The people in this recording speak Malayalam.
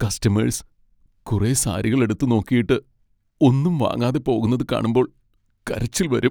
കസ്റ്റമേഴ്സ് കുറെ സാരികൾ എടുത്തുനോക്കിയിട്ട് ഒന്നും വാങ്ങാതെ പോകുന്നത് കാണുമ്പോൾ കരച്ചിൽ വരും.